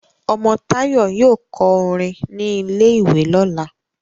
omo Tayo yóò kọ orin ní ilè ìwé lọla